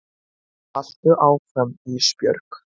Haltu áfram Ísbjörg.